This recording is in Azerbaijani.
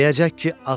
Deyəcək ki, ağac.